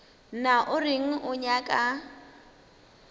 na o reng o nyaka